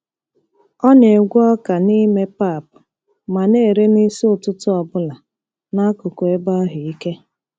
Ọ na-egwe ọka n'ime pap ma na-ere n'isi ụtụtụ ọ bụla n'akụkụ ebe ahụ ike.